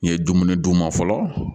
N ye dumuni d'u ma fɔlɔ